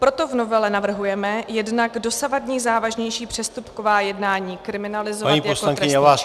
Proto v novele navrhujeme jednak dosavadní závažnější přestupková jednání kriminalizovat jako trestný čin -